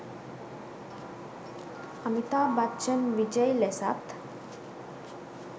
අමිතාබ් බච්චන් විජයි ලෙසත්